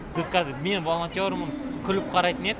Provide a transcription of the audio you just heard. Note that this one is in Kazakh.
біз қазір мен волонтермін күліп қарайтын еді